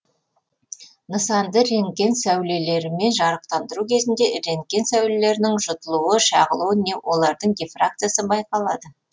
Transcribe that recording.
нысанды рентген сәулелерімен жарықтандыру кезінде рентген сәулелерінің жұтылуы шағылуы не олардың дифракциясы байқалады